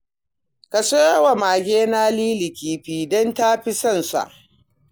Ka siyo wa magena Lili kifi, don ta fi son sa